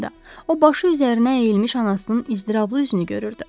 O başı üzərinə əyilmiş anasının iztirablı üzünü görürdü.